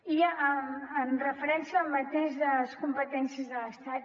i en referència al mateix de les competències de l’estat